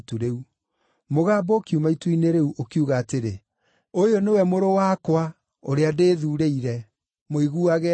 Mũgambo ũkiuma itu-inĩ rĩu, ũkiuga atĩrĩ, “Ũyũ nĩwe Mũrũ wakwa, ũrĩa ndĩĩthuurĩire; mũiguagei.”